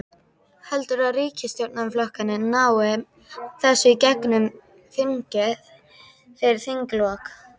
Heldurðu að ríkisstjórnarflokkarnir nái þessu í gegnum þingið fyrir þinglok?